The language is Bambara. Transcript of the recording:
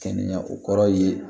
Kɛnɛya o kɔrɔ ye